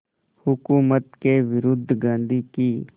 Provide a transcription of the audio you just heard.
हुकूमत के विरुद्ध गांधी की